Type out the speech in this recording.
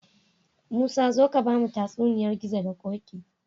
Musa zo ka bamu tatsuniyar gizo da koki